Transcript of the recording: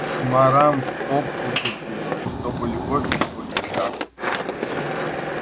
шмарам в топку закидывать чтоб любовь его не гасла